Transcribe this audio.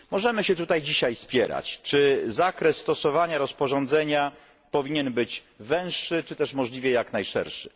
Możemy się tutaj dzisiaj spierać, czy zakres stosowania rozporządzenia powinien być węższy czy też możliwie jak najszerszy.